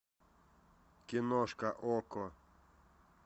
киношка окко